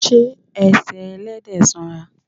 Ṣé ẹsẹ̀ Ẹlẹ́dẹ̀ sanra?